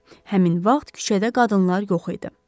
Həmin vaxt küçədə qadınlar yox idi.